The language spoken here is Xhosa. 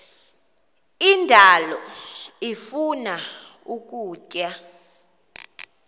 indalo ifuna ukutya